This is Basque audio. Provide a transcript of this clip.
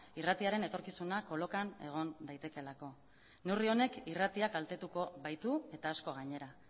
irratiaren etorkizuna kolokan egon daitekeelako neurri honek irratia kaltetuko baitu eta asko gainera